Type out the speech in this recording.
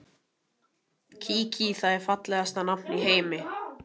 Kiki, það er fallegasta nafn í heimi.